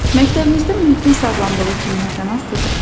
Məktəbinizdə mühitin sağlamlığı kimlərdən asılıdır?